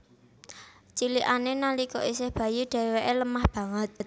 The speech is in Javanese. Cilikané nalika isih bayi dhéwéké lemah banget